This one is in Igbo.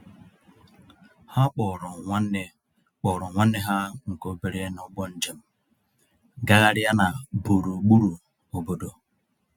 Ha kpọọrọ nwanne kpọọrọ nwanne ha nke obere n'ụgbọ njem gagharịa na burugburu obodo.